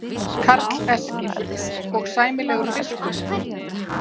Karl Eskil: Og sæmilegur fiskur?